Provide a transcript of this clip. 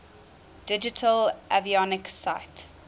digital avionics suite